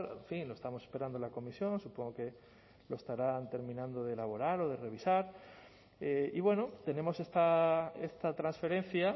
en fin lo estamos esperando la comisión supongo que lo estarán terminando de elaborar o de revisar y bueno tenemos esta transferencia